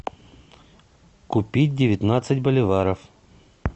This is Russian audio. купить девятнадцать боливаров